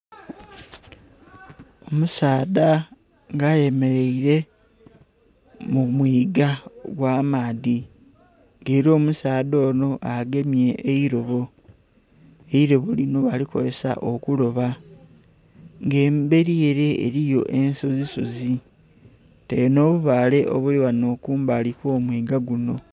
Omusaadha nga ayemereire mu mwiga gw'amaadhi, nga era omusaadha ono agemye eirobo, eirobo lino balikozesa okuloba. Nga emberi ere eriyo ensozisozi kwotaire n'obubaale obuli ghano kumbali okw'omwiga guno